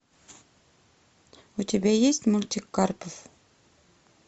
у тебя есть мультик карпов